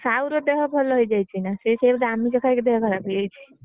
ଆଉ ସାହୁର ଦେହ ଭଲ ହେଇ ଯାଇଛି ନା? ସେ ସେୟା ହେଇଛି ଆମିଷ ଖାଇକି ତା ଦେହ ଖରାପ ହେଇଯାଇଛି।